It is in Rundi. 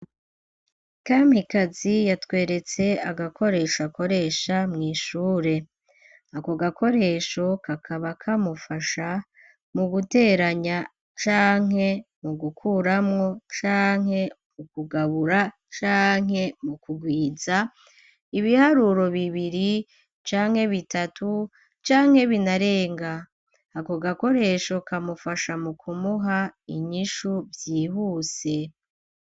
kampikazi yatweretse agakoresho akoresha mw' ishure ,ako gakoresho kakaba kamufasha mu guteranya canke mu gukuramwo ,canke mu kugabura ,canke mu kugwiza, ibiharuro bibiri ,canke bitatu ,canke binarenga ,ako gakoresho kamufasha mu kumuha inyishu vyihuse.